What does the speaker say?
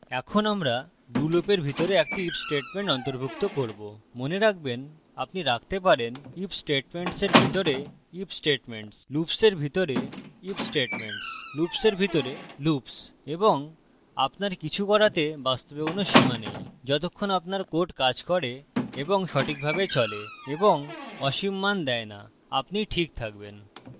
এখন আমরা do লুপের ভিতরে একটি if statement অন্তর্ভুক্ত করবো মনে রাখবেন আপনি রাখতে পারেন